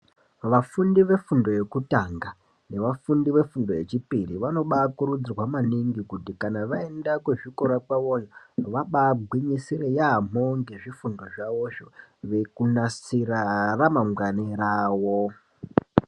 Vafundi vefundo yekutanga vafundi vefundo yechipiri vanobakurudzirwa maningi kuti kana vaenda kuzvikora kwavoyo vagwinyisire yamho ngezvifundo zvavozvo kunasira ramangwani rawo .